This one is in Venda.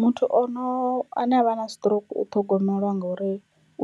Muthu ono ane avha na stroke u ṱhogomelwa ngori